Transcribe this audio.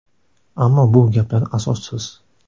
Ammo bu gaplar asossiz.